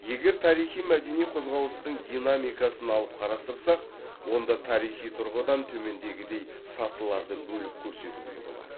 егер тарихи мәдени қозғалыстың динамикасын алып қарастырсақ онда тарихи тұрғыдан төмендегідей сатыларды бөліп көрсетуге болады